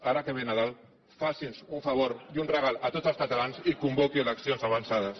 ara que ve nadal faci’ns un favor i un regal a tots els catalans i convoqui eleccions avançades